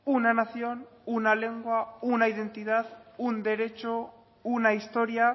una nación una lengua una identidad un derecho una historia